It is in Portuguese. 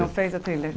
Não fez a trilha.